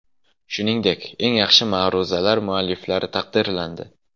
Shuningdek, eng yaxshi ma’ruzalar mualliflari taqdirlandi.